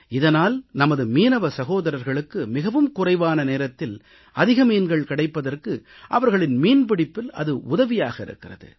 இதனால் நமது மீனவ சகோதரர்களுக்கு மிகவும் குறைவான நேரத்தில் அதிக மீன்கள் கிடைப்பதற்கு அவர்களின் மீன்பிடிப்பில் அது உதவியாக இருக்கிறது